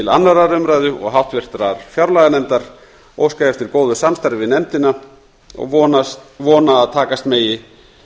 annarrar umræðu og háttvirtrar fjárlaganefndar óska ég eftir góðu samstarfi við nefndina og vona að takast megi